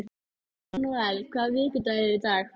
Sendum okkar þjóna á fund síra Björns.